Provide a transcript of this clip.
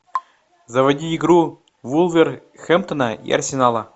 заводи игру вулверхэмптона и арсенала